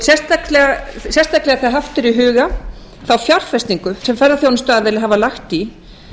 sérstaklega þegar haft er í huga þá fjárfestingu sem ferðaþjónustuaðilar hafa lagt í